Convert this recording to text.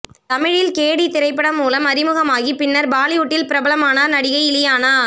தமிழில் கேடி திரைப்படம் மூலம் அறிமுகமாகி பின்னர் பாலிவுட்டில் பிரபலமானார் நடிகை இலியானா